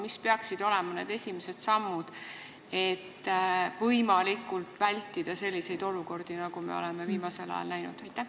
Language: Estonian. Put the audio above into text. Mis peaksid olema need esimesed sammud, et võimalikult hästi vältida selliseid olukordi, nagu me oleme viimasel ajal näinud?